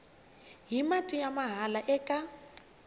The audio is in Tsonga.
hi mati ya mahala eka